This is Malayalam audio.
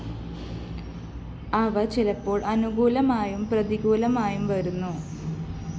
അവ ചിലപ്പോള്‍ അനുകൂലമായും പ്രതികൂലമായും വരുന്നു